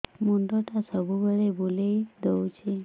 ମୁଣ୍ଡଟା ସବୁବେଳେ ବୁଲେଇ ଦଉଛି